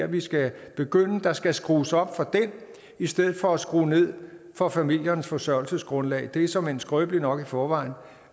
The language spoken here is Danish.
vi skal begynde der skal skrues op for den i stedet for at der skrues ned for familiernes forsørgelsesgrundlag det er såmænd skrøbeligt nok i forvejen